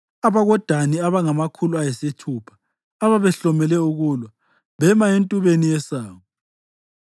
AbakoDani abangamakhulu ayisithupha, ababehlomele ukulwa, bema entubeni yesango.